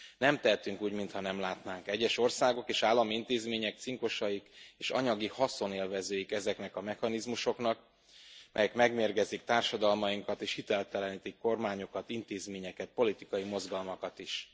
Nem tehetünk úgy, mintha nem látnák egyes országok és állami intézmények cinkosaik és anyagi haszonélvezőik ezeknek a mechanizmusoknak, amelyek megmérgezik társadalmainkat és hiteltelenítenek kormányokat, intézményeket, politikai mozgalmakat is.